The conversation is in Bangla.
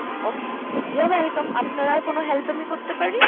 Okay, you are welcome আপনার আর কোন help আমি করতে পারি?